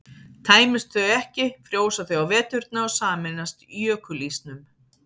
tæmist þau ekki frjósa þau á veturna og sameinast jökulísnum